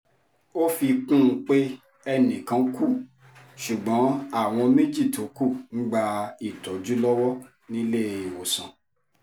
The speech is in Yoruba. ó fi kún un pé ẹnì kan kú ṣùgbọ́n àwọn méjì tó kù ń gba ìtọ́jú lọ́wọ́ níléèwọ̀sàn